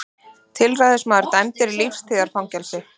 Tilræðismaður dæmdur í lífstíðarfangelsi